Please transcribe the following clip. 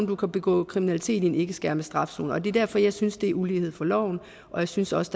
du kan begå kriminalitet i en ikke skærpet straf zone det er derfor jeg synes det er ulighed for loven og jeg synes også